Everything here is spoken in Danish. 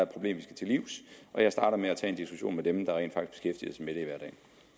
problem vi skal til livs og jeg starter med at tage en diskussion med dem der rent